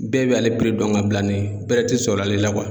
Bɛɛ b'ale dɔn ka bila ni bɛrɛ tɛ sɔrɔ ale la